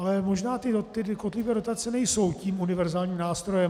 Ale možná ty kotlíkové dotace nejsou tím univerzálním nástrojem.